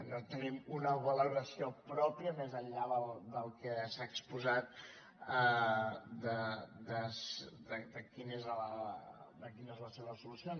no tenim una valoració pròpia més enllà del que s’ha exposat de quina és la seva solució